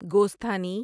گوستھانی